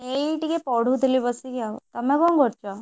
ଏଇ ଟିକେ ପଢୁଥିଲି ବସିକି ଆଉ ତମେ କଣ କରୁଛ?